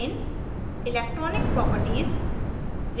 main main electronic properties electronic properties